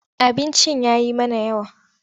Abincin ya yi mana yawa.